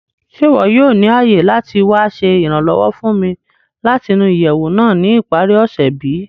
Ṣe iwọ yoo ni aye lati wa ṣe iranlọwọ fun mi lati nu iyẹwu naa ni ipari ose bi?